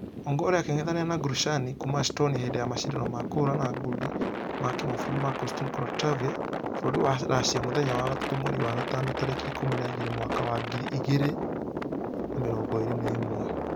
Ongare akĩngethanĩra na gorishnaya kuuma estonia hĩndĩ ya mashidano ma kũhũrana ngundi ma kĩmabũrũri ma konstain korotkov bũrũri wa russia mũthenya wa gatatũ mweri wa gatano tarĩki ikũmi na igĩrĩ mwaka wa ngiri igĩrĩ na mĩrongo ĩrĩ na ĩmwe.